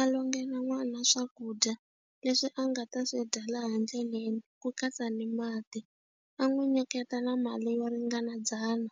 A longela n'wana swakudya leswi a nga ta swi dya laha ndleleni ku katsa ni mati a n'wi nyiketa na mali yo ringana dzana